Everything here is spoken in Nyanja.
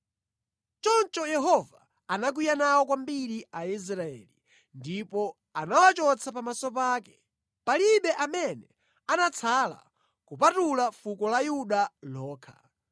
Choncho Yehova anakwiya nawo kwambiri Aisraeli ndipo anawachotsa pamaso pake. Palibe amene anatsala kupatula fuko la Yuda lokha.